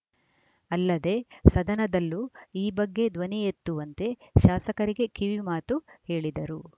ಅಲ್ಲದೇ ಸದನದಲ್ಲೂ ಈ ಬಗ್ಗೆ ಧ್ವನಿ ಎತ್ತುವಂತೆ ಶಾಸಕರಿಗೆ ಕಿವಿಮಾತು ಹೇಳಿದರು